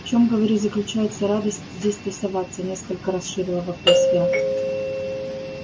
в чём говорю заключается радость здесь тусоваться несколько расширила вопрос я